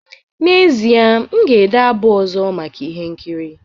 N'ezie, m ga-ede abụ ọzọ maka ihe nkiri